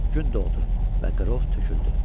Gün doğdu və qrov töküldü.